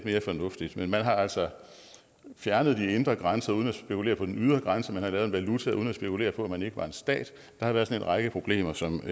mere fornuftigt men man har altså fjernet de indre grænser uden at spekulere på den ydre grænse man har lavet en valuta uden at spekulere på at man ikke var en stat der har været en række problemer som